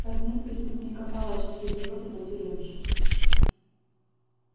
казнит преступника палач стережёт его тюремщик